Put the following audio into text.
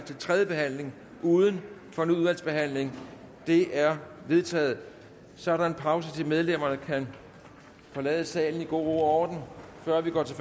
til tredje behandling uden fornyet udvalgsbehandling det er vedtaget så er der en pause så medlemmerne kan forlade salen i god ro og orden før vi går til